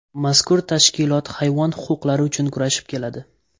Mazkur tashkilot hayvon huquqlari uchun kurashib keladi.